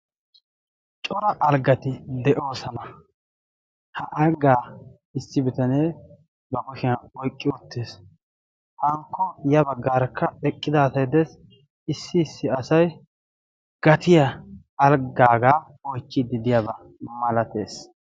Cora alggati de'oosana. ha anggaa issi bitanee ba boshiyan oyqqi uttees. hankko ya baggaarakka eqqidaatai dees issi issi asai gatiya alggaagaa oichchiiddi deyaabaa malatees.